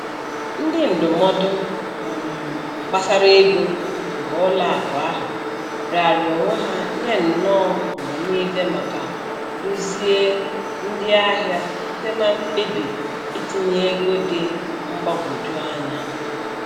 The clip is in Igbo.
Ndị ndụmọdụ um gbasara ego nke ụlọ akụ ahụ raara onwe ha nye nọ mgbe niile maka duzie ndị ahịa site na mkpebi itinye ego dị mgbagwoju anya.